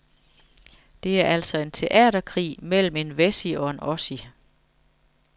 Det er altså en teaterkrig mellem en wessie og en ossie.